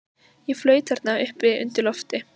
Ég flaut þarna uppi undir lofti.